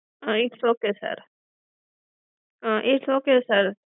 its okay sir um its okay sir